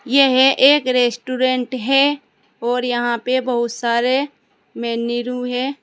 यह एक रेस्टोरेंट है और यहा पे बहुत सारे है।